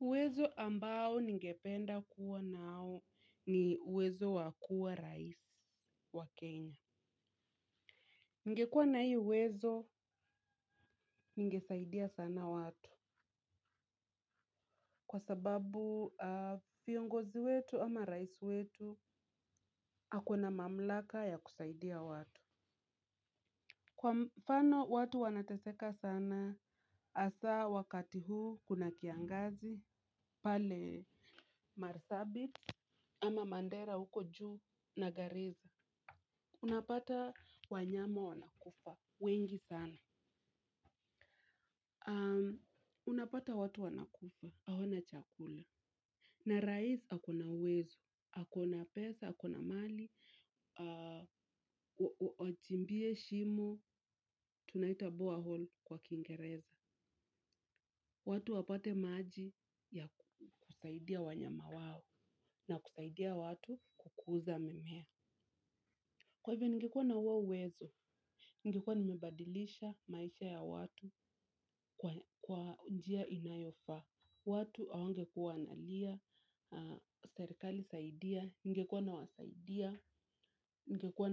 Uwezo ambao ningependa kuwa nao ni uwezo wa kua rais wa Kenya. Ningekua na hii uwezo ningesaidia sana watu. Kwa sababu aah viongozi wetu ama rais wetu ako na mamlaka ya kusaidia watu. Kwa mfano watu wanateseka sana hasaa wakati huu kuna kiangazi pale marsabit ama mandera huko juu na garissa. Unapata wanyama wanakufa. Wengi sana. Unapata watu wanakufa. Hawana chakula. Na rais ako na uwezo. Hakuna pesa, hakuna mali. Wachimbie shimo. Tunaita borehole kwa kingereza. Watu wapate maji ya kusaidia wanyama wao. Na kusaidia watu kukuza mimea. Kwa hivyo, ningekua na huo uwezo. Ningekua nimebadilisha maisha ya watu kwa njia inayofaa. Watu hawangekuwa wanalia serikali saidia ningekuwa nawasaidia ningekuwa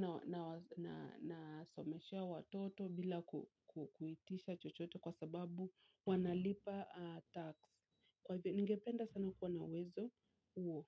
nasomeshea watoto bila kuitisha chochote kwa sababu wanalipa tax kwa hivyo ningependa sana kuwa na uwezo huo.